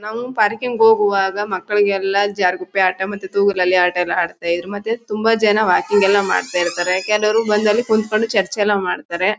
ನಾವ್ ಪಾರ್ಕಿಂಗ್ ಹೋಗುವಾಗ ಮಕ್ಳುಗೆಲ್ಲಾ ಜಾರಗುಪ್ಪೆ ಆಟ ಮತ್ತೆ ತೂಗುಲ್ ಅಲ್ಲಿ ಆಟ ಎಲ್ಲ ಅಡುಸ್ತಾ ಇದ್ರೂ ಮತ್ತೆ ತುಂಬಾ ಜನ ವಾಕಿಂಗ್ ಎಲ್ಲ ಮಾಡ್ತಾ ಇರ್ತಾರೆ. ಕೆಲುವರು ಬಂದಿ ಅಲ್ ಕುತ್ಕೊಂಡು ಚರ್ಚೆ ಎಲ್ಲ ಮಾಡ್ತಾರೆ.